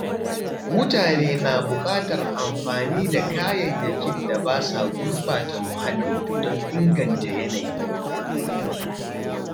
Mutane na buƙatar amfani da kayayyakin da ba sa gurɓata muhalli don inganta yanayi